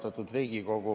Austatud Riigikogu!